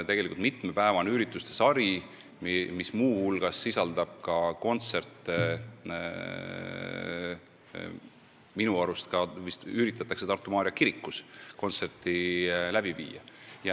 See on mitmepäevane ürituste sari, mis muu hulgas sisaldab kontserte, ja minu arust üritatakse ka Tartu Maarja kirikus kontsert läbi viia.